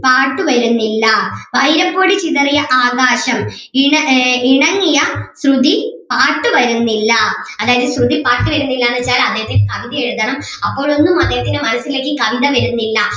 പാട്ടു വരുന്നില്ല വൈരപ്പൊടി ചിതറിയ ആകാശം ഇണ ഏർ ഇണങ്ങിയ ശ്രുതി പാട്ടുവരുന്നില്ല അതായത് ശ്രുതി പാട്ടുവരുന്നില്ല എന്ന് വെച്ചാല് അദ്ദേഹത്തിന് കവിത എഴുതണം അപ്പോഴൊന്നും അദ്ദേഹത്തിൻ്റെ മനസ്സിലേക്ക് കവിത വരുന്നില്ല